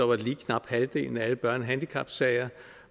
var det lige knap halvdelen af alle børnehandicapsager